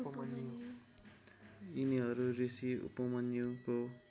यिनीहरू ऋषि उपमन्युको